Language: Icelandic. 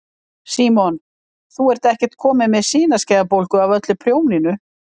Símon: Þú ert ekkert komin með sinaskeiðabólgu af öllu prjóninu?